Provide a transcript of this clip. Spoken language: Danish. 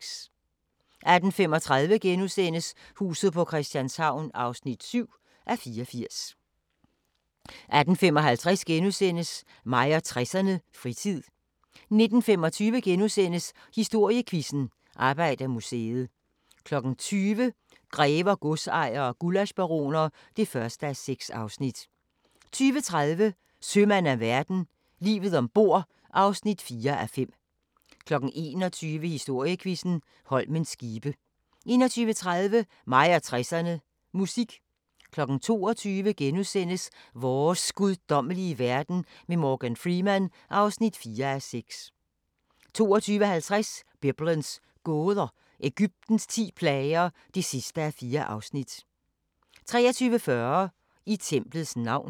18:35: Huset på Christianshavn (7:84)* 18:55: Mig og 60'erne: Fritid * 19:25: Historiequizzen: Arbejdermuseet * 20:00: Grever, godsejere og gullaschbaroner (1:6) 20:30: Sømand af verden – Livet ombord (4:5) 21:00: Historiequizzen: Holmens skibe 21:30: Mig og 60'erne: Musik 22:00: Vores guddommelige verden med Morgan Freeman (4:6)* 22:50: Biblens gåder – Egyptens ti plager (4:4) 23:40: I templets navn